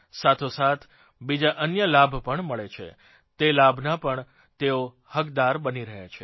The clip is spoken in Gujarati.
સાથોસાથ બીજા અન્ય લાભ મળે છે તે લાભના પણ તેઓ હકદાર બની રહ્યા છે